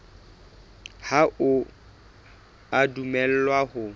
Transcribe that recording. ha o a dumellwa ho